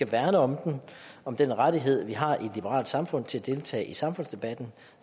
værne om den om den rettighed vi har i et liberalt samfund til at deltage i samfundsdebatten